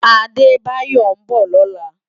Adebayo n bò lòlá